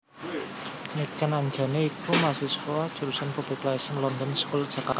Niken Anjani iku mahasiswa Jurusan Public Relations London School Jakarta